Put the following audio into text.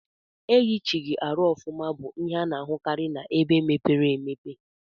Eyichighi arụ ọfuma bu ihe ana ahukari na ebe mepere emepe.